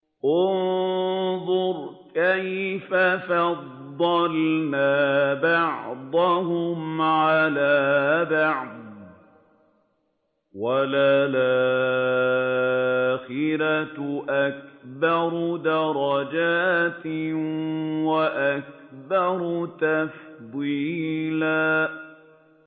انظُرْ كَيْفَ فَضَّلْنَا بَعْضَهُمْ عَلَىٰ بَعْضٍ ۚ وَلَلْآخِرَةُ أَكْبَرُ دَرَجَاتٍ وَأَكْبَرُ تَفْضِيلًا